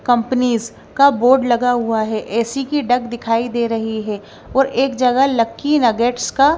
Companies का board लगा हुआ है। ऐ_सी की डक दिखाई दे रही है और एक जगह लकी एंड गेट्स का--